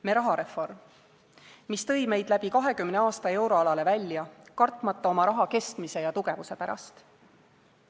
Me rahareform, mis tõi meid läbi 20 aasta euroalale välja, kartmata oma raha kestmise ja tugevuse pärast.